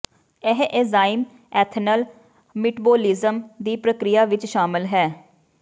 ਇਹ enzyme ethanol metabolism ਦੀ ਪ੍ਰਕਿਰਿਆ ਵਿੱਚ ਸ਼ਾਮਲ ਹੈ